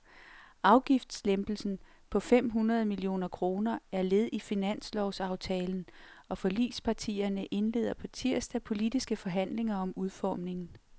Afgiftslempelsen på fem hundrede millioner kroner er led i finanslovsaftalen, og forligspartierne indleder på tirsdag politiske forhandlinger om udformningen.